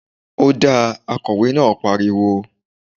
Ọ́dà!, Akọ̀wé náà pariwo